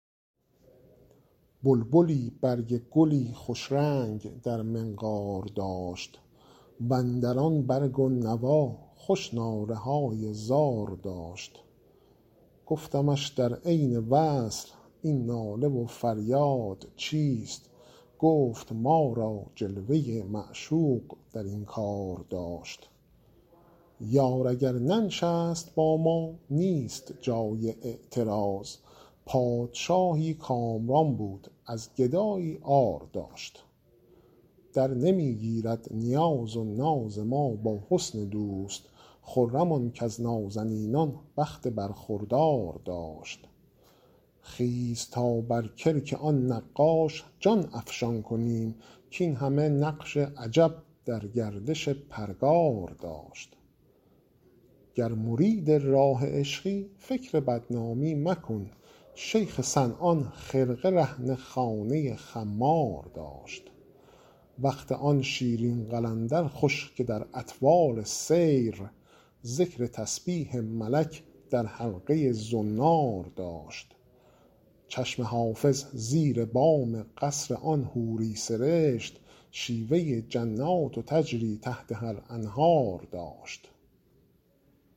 بلبلی برگ گلی خوش رنگ در منقار داشت و اندر آن برگ و نوا خوش ناله های زار داشت گفتمش در عین وصل این ناله و فریاد چیست گفت ما را جلوه ی معشوق در این کار داشت یار اگر ننشست با ما نیست جای اعتراض پادشاهی کامران بود از گدایی عار داشت درنمی گیرد نیاز و ناز ما با حسن دوست خرم آن کز نازنینان بخت برخوردار داشت خیز تا بر کلک آن نقاش جان افشان کنیم کاین همه نقش عجب در گردش پرگار داشت گر مرید راه عشقی فکر بدنامی مکن شیخ صنعان خرقه رهن خانه خمار داشت وقت آن شیرین قلندر خوش که در اطوار سیر ذکر تسبیح ملک در حلقه ی زنار داشت چشم حافظ زیر بام قصر آن حوری سرشت شیوه ی جنات تجری تحتها الانهار داشت